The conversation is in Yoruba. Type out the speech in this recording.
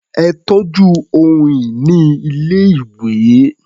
Ẹ tọ́jú ohun-ìní ilé-ìwé.